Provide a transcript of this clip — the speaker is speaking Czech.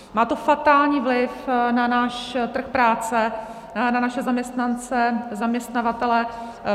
Má to fatální vliv na náš trh práce, na naše zaměstnance, zaměstnavatele.